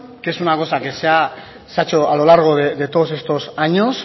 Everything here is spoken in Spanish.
que es una cosa que se ha hecho a lo largo de todos estos años